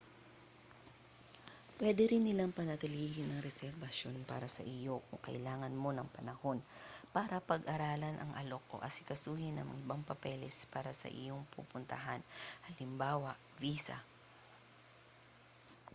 puwede rin nilang panatilihin ang reserbasyon para sa iyo kung kailangan mo ng panahon para pag-aralan ang alok o asikasuhin ang ibang papeles para sa iyong pupuntahan hal. visa